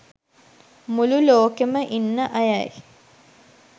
මුළු ලෝකෙම ඉන්න අයයි